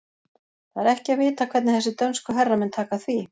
Það er ekki að vita hvernig þessir dönsku herramenn taka því.